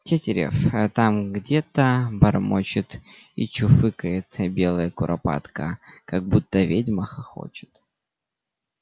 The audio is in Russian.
тетерев там где-то бормочет и чуфыкает белая куропатка как будто ведьма хохочет